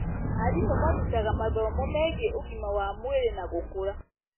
Arimũ marutaga mathomo megiĩ ũgima wa mwĩrĩ na gũkũra.